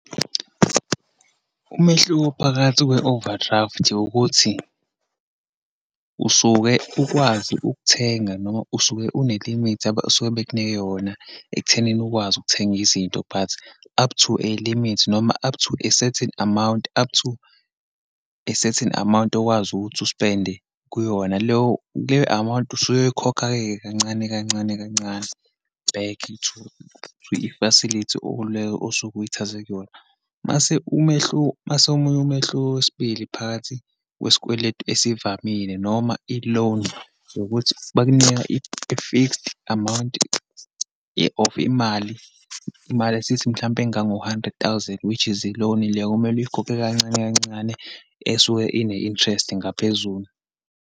Umehluko phakathi kwe-overdraft, ukuthi usuke ukwazi ukuthenga, noma usuke une-limit abasuke bekunike yona ekuthenini ukwazi ukuthenga izinto, but up to a limit, noma up to a certain amount, up to a certain amount okwazi ukuthi uspende kuyona leyo. Leyo amount usuyoyikhokha-ke kancane kancane kancane, back to i-facilty le osuke uyithathe kuyona. Uma uma omunye umehluko wesibili phakathi kwesikweletu esivamile, noma i-loan yikuthi bakunika i-fixed amount ye of imali, imali asithi mhlampe engango-hundred thousand which is i-loan le okumele uyikhokhe kancane kancane, esuke ine-interest ngaphezulu.